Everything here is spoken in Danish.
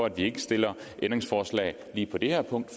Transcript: at vi ikke stiller ændringsforslag lige på det her punkt